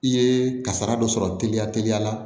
I ye kasara dɔ sɔrɔ teliya teliya la